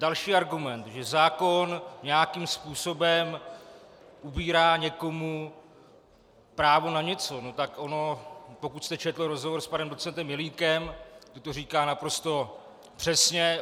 Další argument, že zákon nějakým způsobem ubírá někomu právo na něco, no tak ono - pokud jste četl rozhovor s panem docentem Jelínkem, on to říká naprosto přesně.